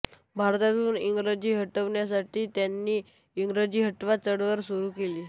भारतातून इंग्रजी हटवण्यासाठी त्यांनी इंग्रजी हटवा चळवळ सुरू केली